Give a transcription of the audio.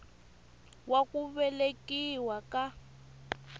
wa ku velekiwa ka n